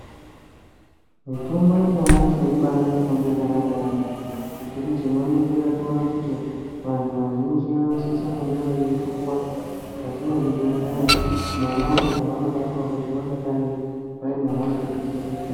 Mitombo yanyamashi ibari mitombo yakanaka yaambo nekuti tinoningira toona kuti vantu vazhinji vanosisa kunge veipuwa mukati mezvibhedhleya monapo pavanobatwa kuti vangadai vaine hosha dzakasiyana siyana.